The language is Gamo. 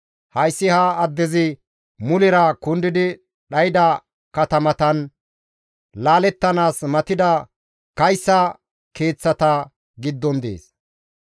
Hayssi ha addezi mulera kundidi dhayda katamatan, laalettanaas matida kayssa keeththata giddon dees.